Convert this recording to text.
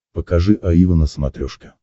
покажи аива на смотрешке